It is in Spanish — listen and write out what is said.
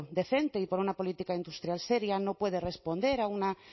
decente y por una política industrial seria no puede responder a una